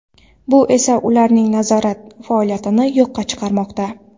Bu esa ularning nazorat faoliyatini yo‘qqa chiqarmoqda.